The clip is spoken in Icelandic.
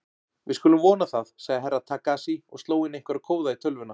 Við skulum vona það, sagði Herra Takashi og sló inn einhverja kóða í tölvuna.